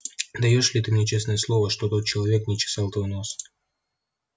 даёшь ли ты мне честное слово что тот человек не чесал твой нос